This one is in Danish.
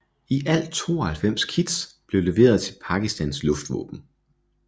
I alt 92 kits blev leveret til Pakistans Luftvåben